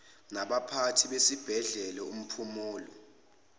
labaphathi besibhedlela umphumulo